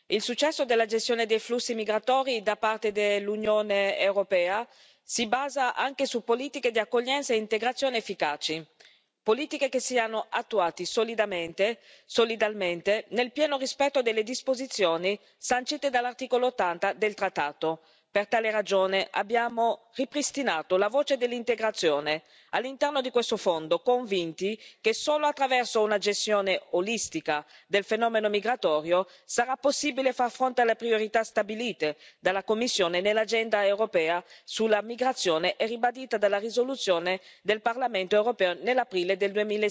Il successo della gestione dei flussi migratori da parte dell'Unione europea si basa anche su politiche di accoglienza e integrazione efficaci. Politiche che siano attuate solidalmente nel pieno rispetto delle disposizioni sancite dall'articolo 80 del trattato. Per tale ragione, abbiamo ripristinato la voce dell'integrazione all'interno di questo Fondo, convinti che solo attraverso una gestione olistica del fenomeno migratorio sarà possibile far fronte alle priorità stabilite dalla Commissione nell'agenda europea sulla migrazione e ribadite dalla risoluzione del Parlamento europeo nell'aprile del